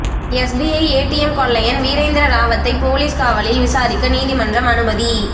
SBI ATM கொள்ளையன் வீரேந்திர ராவத்தை police காவலில் விசாரிக்க நீதிமன்றம் அனுமதி